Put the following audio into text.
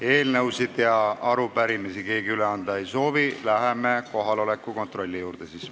Eelnõusid ega arupärimisi keegi üle anda ei soovi, läheme kohaloleku kontrolli juurde.